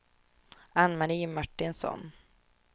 Ann-Marie Martinsson